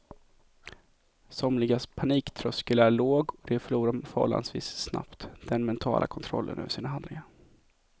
Somligas paniktröskel är låg och de förlorar förhållandevis snabbt den mentala kontrollen över sina handlingar.